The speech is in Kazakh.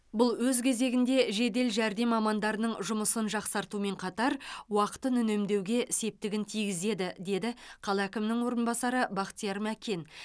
бұл өз кезегінде жедел жәрдем мамандарының жұмысын жақсартумен қатар уақытын үнемдеуге септігін тигізеді деді қала әкімінің орынбасары бақтияр мәкен